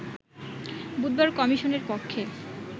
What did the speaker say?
বুধবার কমিশনের পক্ষে